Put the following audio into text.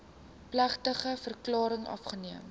plegtige verklaring afgeneem